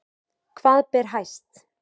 Hvað ber hæst